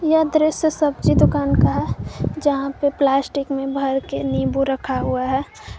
यह दृश्य सब्जी दुकान का है यहां पे प्लास्टिक में भर के नींबू रखा हुआ है।